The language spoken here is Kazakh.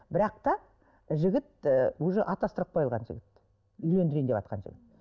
бірақ та жігіт ііі уже атастырылып қойған жігіт үйлендірейін деватқан жігіт